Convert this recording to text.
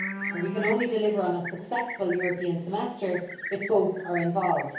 We can only deliver on a successful European Semester if both are involved.